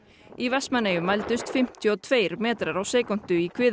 í Vestmannaeyjum mældust fimmtíu og tveir metrar á sekúndu í